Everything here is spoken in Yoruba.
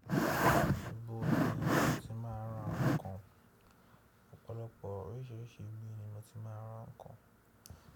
Gbogbo ibi ni mo ti máa ń ra nǹkan. Ọ̀pọ̀lọpọ̀ oríṣiríṣi ibi ni mo ti máa ń ra nǹkan